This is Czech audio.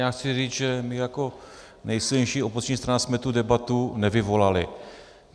Já chci říct, že my jako nejsilnější opoziční strana jsme tu debatu nevyvolali.